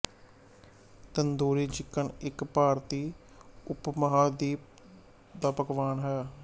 tandoori chicken ਇੱਕ ਭਾਰਤੀ ਉਪਮਹਾਦੀਪ ਦਾ ਪਕਵਾਨ ਹੈ